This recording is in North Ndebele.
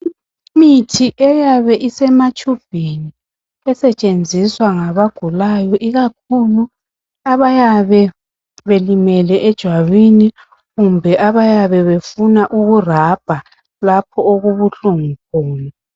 Imithi eyabe isematshubhini esetshenziswa ngabagulayo ikakhulu abayabe belimele ejwabini kumbe abayabe befuna ukurabha lapho okubuhlungu khona.